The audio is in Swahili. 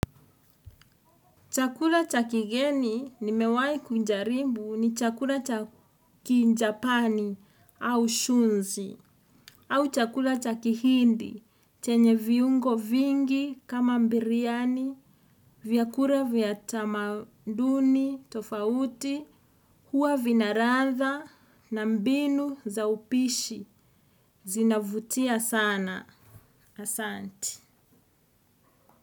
Chakula cha kigeni nimewahi kujaribu ni chakula cha kijapani au shunzi. Au chakula cha kihindi chenye viungo vingi kama biriani, vyakula vya tamaduni tofauti huwa vina ladha na mbinu za upishi zinavutia sana, asante.